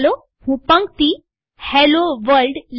ચાલો હું પંક્તિ હેલ્લો વર્લ્ડ